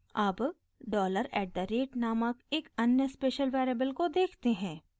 अब dollar at the rate नामक एक अन्य स्पेशल वेरिएबल को देखते हैं